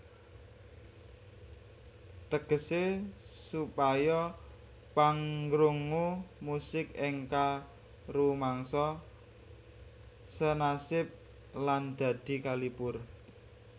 Tegese supaya pangrungu musik enka rumangsa senasib lan dadi kalipur